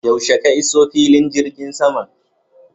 Yaushe ka iso filin jirgin saman?